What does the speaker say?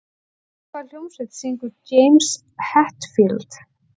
Í hvaða hljómsveit syngur James Hetfield?